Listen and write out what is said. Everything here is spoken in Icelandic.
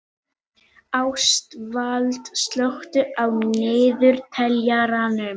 Ástvald, slökktu á niðurteljaranum.